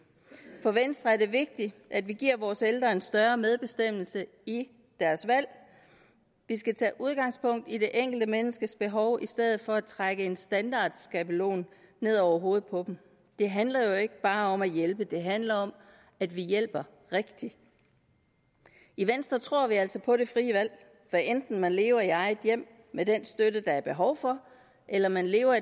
for venstre er det vigtigt at vi giver vores ældre en større medbestemmelse i deres valg vi skal tage udgangspunkt i det enkelte menneskes behov i stedet for at trække en standardskabelon ned over hovedet på dem det handler jo ikke bare om at hjælpe det handler om at vi hjælper rigtigt i venstre tror vi altså på det frie valg hvad enten man lever i eget hjem med den støtte der er behov for eller man lever